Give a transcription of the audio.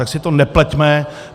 Tak si to nepleťme.